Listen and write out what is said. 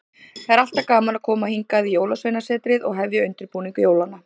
Það er alltaf gaman að koma hingað í Jólasveinasetrið og hefja undirbúning jólanna.